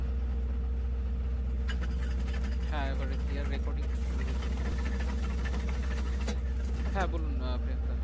হ্যাঁ এবারে clear recording শুরু হয়েছে মনে হয়। হ্যাঁ বলুন আহ প্রিয়াঙ্কা।